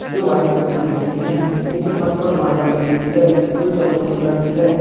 जो white colour की दिख रही हैं नीचे फर्श पर मार्बल लगी हुई है जो चॉकलेटी कलर की है।